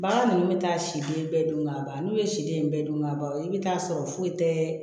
Bagan ninnu bɛ taa siden bɛɛ dun ka ban n'u ye siden in bɛɛ dun ka ban i bɛ taa sɔrɔ foyi tɛ